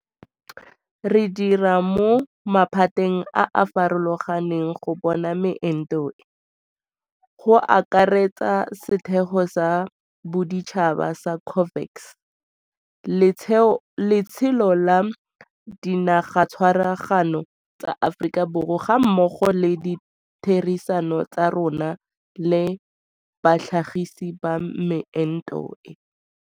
Re dira mo maphateng a a farologang go bona meento e, go akaretsa setheo sa boditšhaba sa COVAX, letsholo la Dinagatshwaraganelo tsa Aforika gammogo le ditherisano tsa rona le batlhagisi ba meento e.